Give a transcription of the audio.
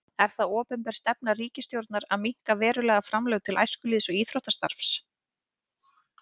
Er það opinber stefna ríkisstjórnar að minnka verulega framlög til æskulýðs- og íþróttastarfs?